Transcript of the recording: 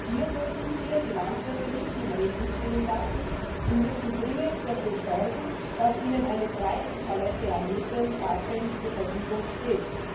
Wir dürfen hier die Landwirte nicht im Regen stehen lassen und müssen dringend dafür sorgen, dass ihnen eine breite Palette an Mitteln tatsächlich zur Verfügung steht.